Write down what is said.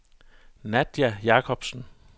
Nadja Jacobsen